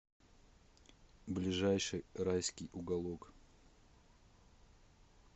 ближайший райский уголок